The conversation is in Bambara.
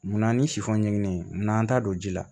Munna ni sifɔ ɲiginen ye n'an ta don ji la